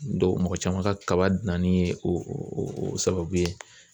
mɔgɔ caman ka kaba danni ye o o sababu ye